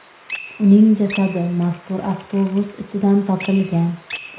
Uning jasadi mazkur avtobus ichidan topilgan.